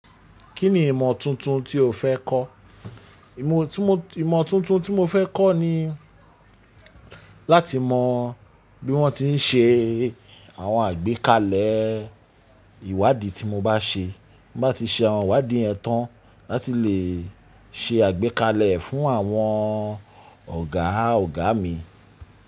Kí ni ìmọ̀ tuntun tí o fẹ́ kọ́? Ìmọ̀ tuntun tí mo fẹ́ kọ́ ni láti mọ bí wọ́n ti ń ṣe àwọn àgbékalẹ̀ ìwádìí tí mo bá ṣe. Mo bá ti ṣe àwọn ìwádìí ẹ tán, láti lè ṣe àgbékalẹ̀ fún àwọn ọ̀gá ọ̀gá mi.